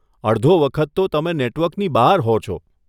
અડધો વખત તો તમે નેટવર્કની બહાર હો છો.